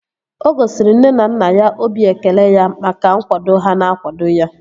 O gosiri nne na nna ya obi ekele ya maka nkwado ha na-akwado ya